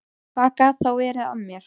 Hvað gat þá verið að mér?